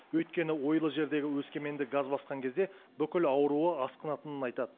өйткені ойлы жердегі өскеменді газ басқан кезде бүкіл ауруы асқынатынын айтады